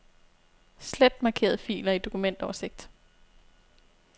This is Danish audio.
Slet markerede filer i dokumentoversigt.